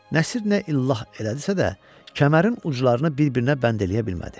Nəsir nə illah elədisə də, kəmərin uclarını bir-birinə bənd eləyə bilmədi.